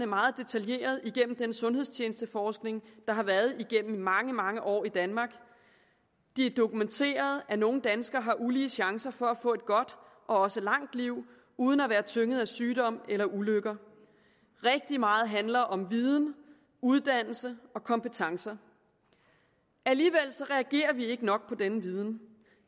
meget detaljeret igennem den sundhedstjenesteforskning der har været igennem mange mange år i danmark det er dokumenteret at nogle danskere har ulige chancer for at få et godt og også langt liv uden at være tynget af sygdom eller ulykker rigtig meget handler om viden uddannelse og kompetencer alligevel reagerer vi ikke nok på denne viden